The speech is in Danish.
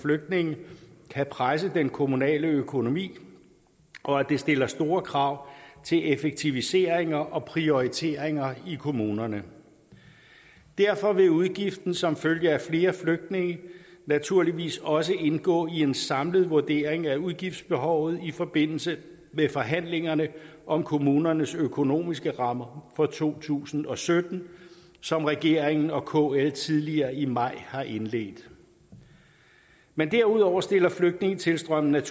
flygtninge kan presse den kommunale økonomi og at det stiller store krav til effektiviseringer og prioriteringer i kommunerne derfor vil udgiften som følge af flere flygtninge naturligvis også indgå i en samlet vurdering af udgiftsbehovet i forbindelse med forhandlingerne om kommunernes økonomiske rammer for to tusind og sytten som regeringen og kl tidligere i maj har indledt men derudover stiller flygtningetilstrømningen